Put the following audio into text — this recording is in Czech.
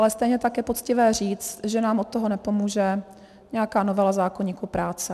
Ale stejně tak je poctivé říct, že nám od toho nepomůže nějaká novela zákoníku práce.